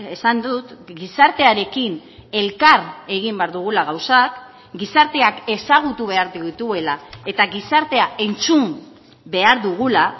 esan dut gizartearekin elkar egin behar dugula gauzak gizarteak ezagutu behar dituela eta gizartea entzun behar dugula